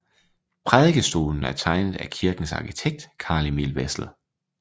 Prædikestolen er tegnet af kirkens arkitekt Carl Emil Wessel